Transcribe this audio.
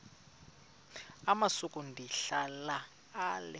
amasuka ndihlala ale